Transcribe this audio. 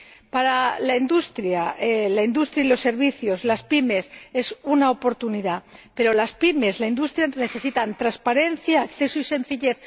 Para la industria, los servicios y las PYME, es una oportunidad, pero las PYME y la industria necesitan transparencia, acceso y sencillez.